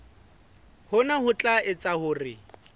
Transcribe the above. hona ho tla etsa hore